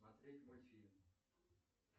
смотреть мультфильм